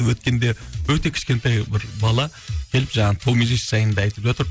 өткенде өте кішкентай бір бала келіп жаңағы томирис жайында айтып жатыр